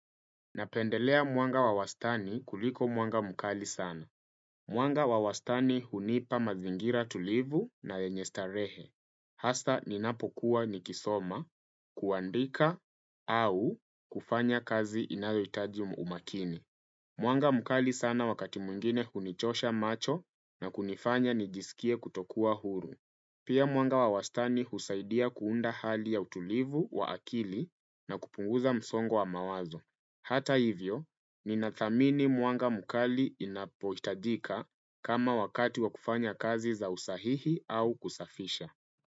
Napendelea mwanga wawastani kuliko mwanga mkali sana. Mwanga wawastani hunipa mazingira tulivu na lenyestarehe. Hasa ninapokuwa nikisoma, kuandika au kufanya kazi inayoitaji umakini. Mwanga mkali sana wakati mwingine hunichosha macho na kunifanya nijisikie kutokuwa huru. Pia mwanga wawastani husaidia kuunda hali ya utulivu wa akili na kupunguza msongo wa mawazo. Hata hivyo, ninathamini mwanga mukali inapohitajika kama wakati wa kufanya kazi za usahihi au kusafisha.